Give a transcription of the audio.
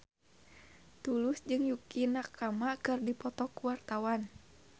Tulus jeung Yukie Nakama keur dipoto ku wartawan